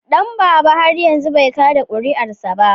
Danbaba har yanzu bai kada kuri'arsa ba.